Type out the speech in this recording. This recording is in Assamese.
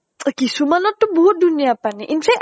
কিছুমানত টো বহুত ধুনীয়া পানী। in fact